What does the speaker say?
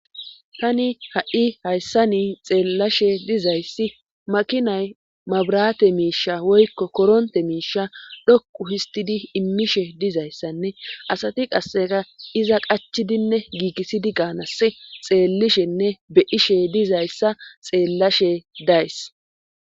Tani ha7i hayssani xeellashe dizayssi makinay mabrate miisha woykko koronte miisha dhoqu histidi immishe dizayssanne asati qasseka iza qachidinne giikisidi gaanass xeellishenne beyishe dizayssa xeellashe days